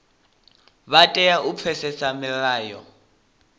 vha tea u pfesesa milayo